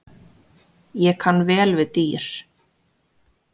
Ég kann vel við dýr.